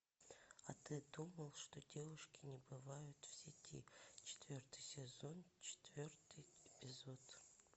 а ты думал что девушки не бывают в сети четвертый сезон четвертый эпизод